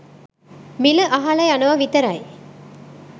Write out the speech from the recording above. මිල අහල යනව විතරයි